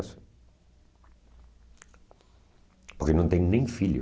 Porque não tem nem filho.